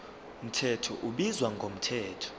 mthetho ubizwa ngomthetho